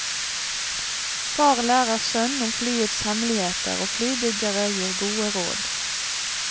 Far lærer sønn om flyets hemmeligheter, og flybyggere gir gode råd.